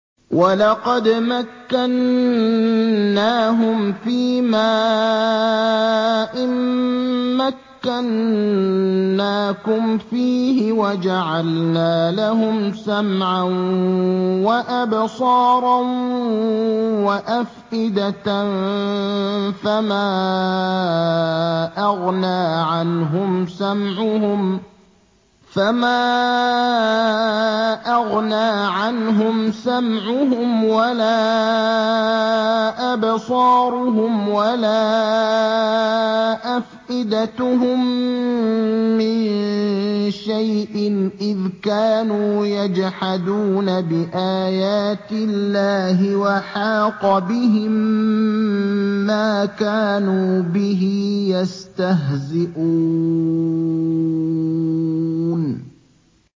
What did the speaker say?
وَلَقَدْ مَكَّنَّاهُمْ فِيمَا إِن مَّكَّنَّاكُمْ فِيهِ وَجَعَلْنَا لَهُمْ سَمْعًا وَأَبْصَارًا وَأَفْئِدَةً فَمَا أَغْنَىٰ عَنْهُمْ سَمْعُهُمْ وَلَا أَبْصَارُهُمْ وَلَا أَفْئِدَتُهُم مِّن شَيْءٍ إِذْ كَانُوا يَجْحَدُونَ بِآيَاتِ اللَّهِ وَحَاقَ بِهِم مَّا كَانُوا بِهِ يَسْتَهْزِئُونَ